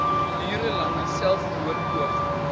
uur lange selfmoordpoging